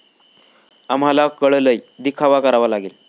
आम्हाला कळलंय, दिखावा करावा लागेल